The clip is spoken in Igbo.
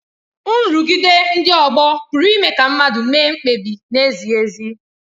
Nrụgide ndị ọgbọ pụrụ ime ka mmadụ mee mkpebi na-ezighị ezi.